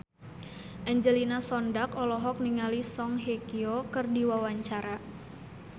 Angelina Sondakh olohok ningali Song Hye Kyo keur diwawancara